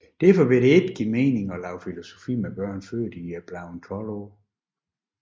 Derfor ville det ikke give mening at lave filosofi med børn før de er blevet 12 år